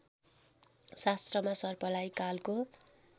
शास्त्रमा सर्पलाई कालको